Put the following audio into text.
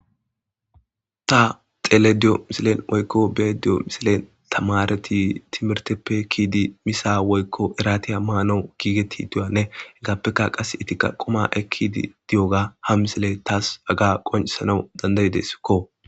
ta xelqyda diyo misilen oykko bee diyo misilen tamareti timerteppe kiidi misa woykko eratiya maanou giigeti duyanne heggaappekka qas etikka qoma ekidi diyoga ha misile taas aga qonesanau dandayideskko